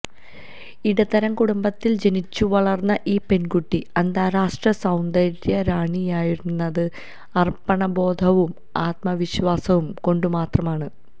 ഇടത്തരം കുടുംബത്തിൽ ജനിച്ചുവളർന്ന ഈ പെൺകുട്ടി അന്താരാഷ്ട്ര സൌന്ദര്യറാണിയായുയർന്നത് അർപ്പണബോധവും ആത്മവിശ്വാസവും കൊണ്ടുമാത്രമാണ്